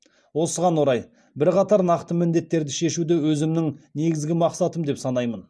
осыған орай бірқатар нақты міндеттерді шешуді өзімнің негізгі мақсатым деп санаймын